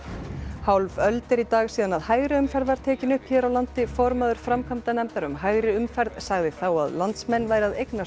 hálf öld er í dag síðan hægri umferð var tekin upp hér á landi formaður framkvæmdanefndar um hægri umferð sagði þá að landsmenn væru að eignast